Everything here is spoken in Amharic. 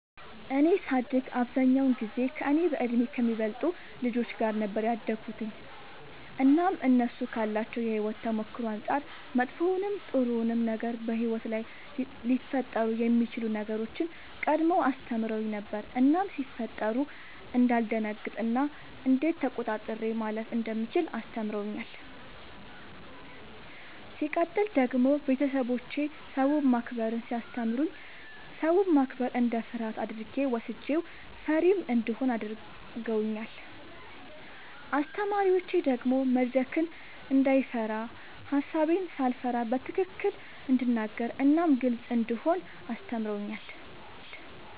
እኔ ሳድግ አብዛኛውን ጊዜ ከእኔ በእድሜ ከሚበልጡ ልጆች ጋር ነበር ያደግሁትኝ እናም እነሱ ካላቸው የሕይወት ተሞክሮ አንጻር መጥፎውንም ጥሩውንም ነገር በሕይወት ላይ ሊፈጠሩ የሚችሉ ነገሮችን ቀድመው አስተምረውኝ ነበር እናም ሲፈጠሩ እንዳልደነግጥ እና እንዴት ተቆጣጥሬ ማለፍ እንደምችል አስተምረውኛል። ሲቀጥል ደግሞ ቤተሰቦቼ ሰውን ማክበርን ሲያስተምሩኝ ሰውን ማክበር እንደ ፍርሃት አድርጌ ወስጄው ፈሪም እንደሆን አድርገውኛል። አስተማሪዎቼ ደግሞ መድረክን እንዳይፈራ ሐሳቤን ሳልፈራ በትክክል እንድናገር እናም ግልጽ እንደሆን አስተምረውኛል።